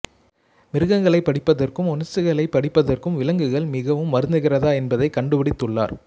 மிருகங்களைப் படிப்பதற்கும் உணர்ச்சிகளைப் படிப்பதற்கும் விலங்குகள் மிகவும் வருந்துகிறதா என்பதை கண்டுபிடித்துள்ளார்